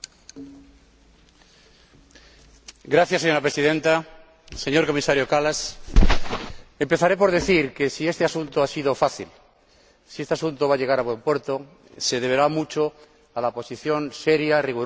Señora Presidenta, señor Comisario Kallas, empezaré por decir que si este asunto ha sido fácil, si este asunto va a llegar a buen puerto, se deberá mucho a la posición seria, rigurosa y flexible del ponente, el señor Fleckenstein.